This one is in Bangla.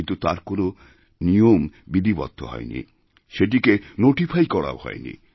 কিন্তু তার কোনও নিয়ম বিধিবদ্ধ হয়নি সেটিকে নোটিফাই করাওহয়নি